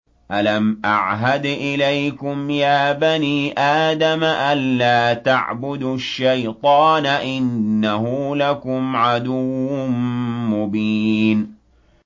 ۞ أَلَمْ أَعْهَدْ إِلَيْكُمْ يَا بَنِي آدَمَ أَن لَّا تَعْبُدُوا الشَّيْطَانَ ۖ إِنَّهُ لَكُمْ عَدُوٌّ مُّبِينٌ